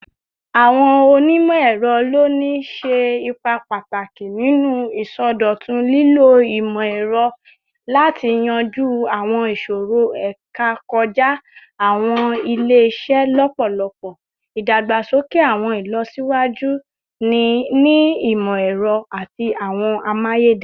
Awọn onimọ-ẹrọ loni ṣe ipa pataki ninu isọdọtun, lilo imọ-ẹrọ imọ-ẹrọ lati yanju awọn iṣoro eka kọja awọn ile-iṣẹ lọpọlọpọ, idagbasoke awọn ilọsiwaju ni imọ-ẹrọ ati awọn amayederun